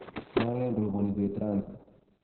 malen roboni beet raini